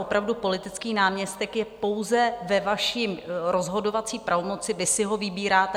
Opravdu, politický náměstek je pouze ve vaší rozhodovací pravomoci, vy si ho vybíráte.